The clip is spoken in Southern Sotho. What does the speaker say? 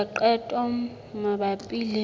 ho etsa qeto mabapi le